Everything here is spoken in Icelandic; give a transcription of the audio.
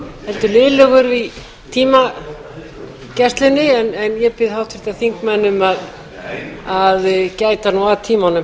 heldur lélegur í tímagæslunni en ég bið háttvirta þingmenn um að gæta nú að tímanum